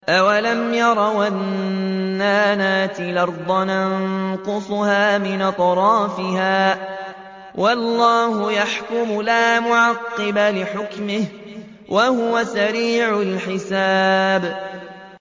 أَوَلَمْ يَرَوْا أَنَّا نَأْتِي الْأَرْضَ نَنقُصُهَا مِنْ أَطْرَافِهَا ۚ وَاللَّهُ يَحْكُمُ لَا مُعَقِّبَ لِحُكْمِهِ ۚ وَهُوَ سَرِيعُ الْحِسَابِ